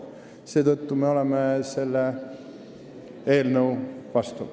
Seetõttu oleme selle eelnõu vastu.